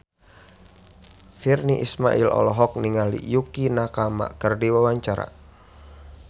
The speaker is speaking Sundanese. Virnie Ismail olohok ningali Yukie Nakama keur diwawancara